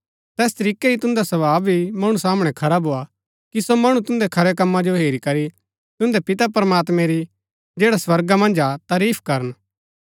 तैस तरीकै ही तुन्दा स्वभाव भी मणु सामणै खरा भोआ कि सो मणु तुन्दै खरै कम्मा जो हेरी करी तुन्दै पिता प्रमात्मैं री जैडा स्वर्गा मन्ज हा तरीफ करन